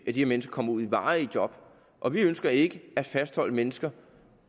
de mennesker kommer ud i varige job og vi ønsker ikke at fastholde mennesker